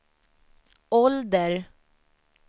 ålder